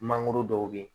Mangoro dɔw bɛ yen